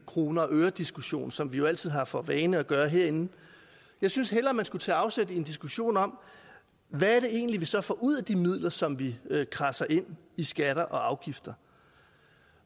kroner og øre diskussion som vi jo altid har for vane at gøre herinde jeg synes hellere man skulle tage afsæt i en diskussion om hvad det egentlig er vi så får ud af de midler som vi kradser ind i skatter og afgifter